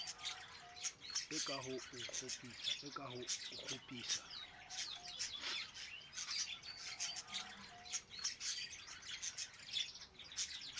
a ka ho o kgopisa